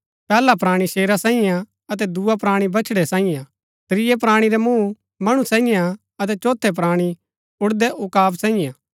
पैहला प्राणी शेरा सांईयै हा अतै दुआ प्राणी बछड़ै सांईयै हा त्रियै प्राणी रा मूँह मणु सांईयै हा अतै चोथै प्राणी ऊड़दै उकाब सांईयै हा